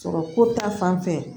Sɔrɔ ko ta fan fɛ